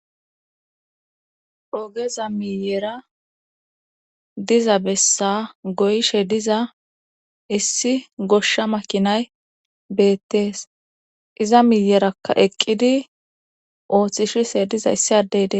Ogeza miyera diza bessa goyshe diza issi goshsha makinay beettees iza miyerakka eqqidi ooththishise diza issi addeydee.